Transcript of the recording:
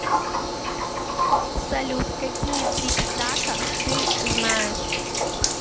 салют какие трипитака ты знаешь